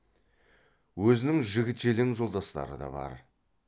өзінің жігіт желең жолдастары да бар